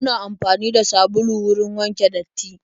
Muna amfani da sabulu wurin wanke datti.